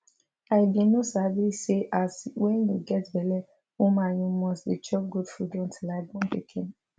i bin no sabi say as wen you get belle woman you must dey chop good food until i born pikin